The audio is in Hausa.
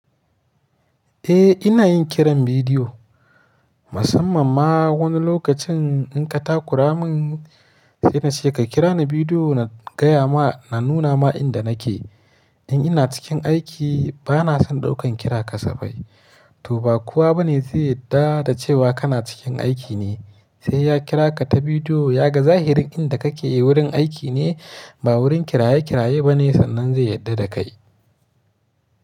Eh ina yin kiran bidiyo, musamman ma wani lokacin in ka takura min sai na ce ka kira ni bidiyo na gaya ma, na nuna ma inda nake. In ina cikin aiki ba na son ɗaukan kira kasafai. Toh ba kowa bane zai yarda da cewa kana cikin aiki ne, sai ya kira ka ta bidiyo ya ga zahirin inda kake wurin aiki ne ba wurin kiraye kiraye bane sannan zai yarda da kai.